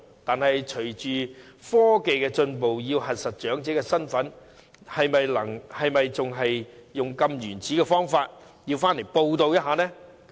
不過，隨着科技進步，要核實長者身份，是否仍然要使用這種原始方法，要長者回來報到呢？